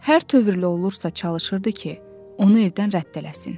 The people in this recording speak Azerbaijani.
Hər tövrlü olursa çalışırdı ki, onu evdən rədd eləsin.